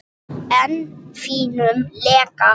Þín Eyrún Inga.